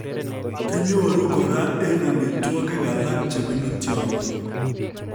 Kinyoru kora en amitwokik alak chebunu tyong'ik